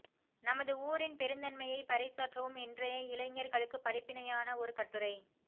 நமது ஊரின் பெருந்தன்மையை பறை சாற்றவும் இன்றய இழைஞர்களுக்கு படிப்பினையான ஒரு கட்டுரை